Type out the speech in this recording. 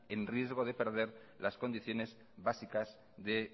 en riesgo de perder las condiciones básicas de